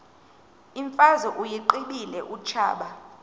imfazwe uyiqibile utshaba